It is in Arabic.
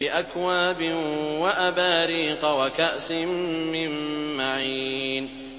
بِأَكْوَابٍ وَأَبَارِيقَ وَكَأْسٍ مِّن مَّعِينٍ